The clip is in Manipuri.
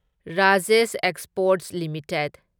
Rajesh exports limited